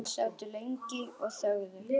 Þeir sátu lengi og þögðu.